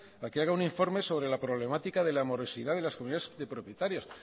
a que haga un informe sobre la problemática de la morosidad de las comunidades de propietarios